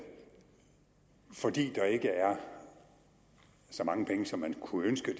fordi der ikke er så mange penge som man kunne ønske